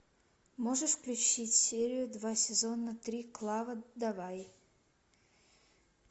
можешь включить серию два сезона три клава давай